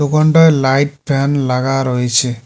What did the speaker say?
দোকানটায় light fan লাগা রয়েছে।